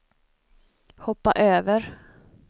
hoppa över